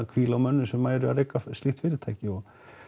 hvíla á mönnum sem eru að reka slíkt fyrirtæki og